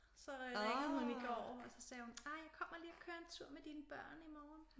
Og så ringede hun i går og så sagde hun ej jeg kommer lige og kører en tur med dine børn i morgen